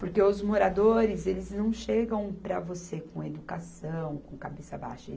Porque os moradores, eles não chegam para você com educação, com cabeça baixa.